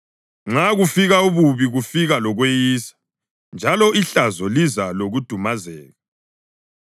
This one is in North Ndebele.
Nxa kufika ububi kufika lokweyisa, njalo ihlazo liza lokudumazeka.